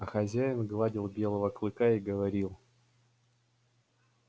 а хозяин гладил белого клыка и говорил